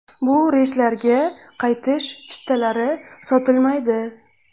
Bu reyslarga qaytish chiptalari sotilmaydi.